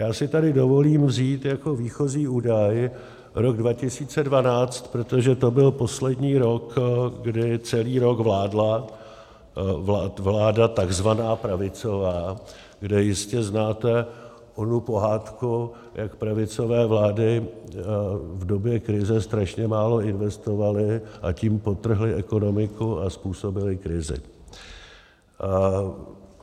Já si tady dovolím vzít jako výchozí údaj rok 2012, protože to byl poslední rok, kdy celý rok vládla vláda tzv. pravicová, kde jistě znáte onu pohádku, jak pravicové vlády v době krize strašně málo investovaly, a tím podtrhly ekonomiku a způsobily krizi.